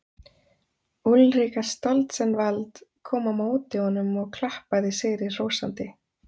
Úlrika Stoltzenwald kom á móti honum og klappaði sigri hrósandi.